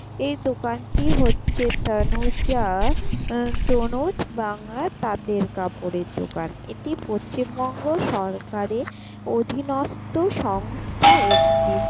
এই দোকানটি হচ্ছে তানুজা-আ আ তনুজ বাংলা তাঁতের কাপড়ের দোকান এটি পচ্চিমবঙ্গ সরকারের অধীনস্থ সংস্থা একটি।